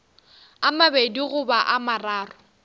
a mabedi goba a mararo